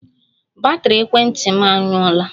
Batrị ekwentị m anwụọla